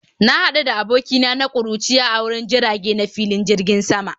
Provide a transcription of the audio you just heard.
Na hadu da abokina na kuruciya a wurin jirage na filin jirgin sama